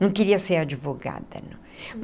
Não queria ser advogada não.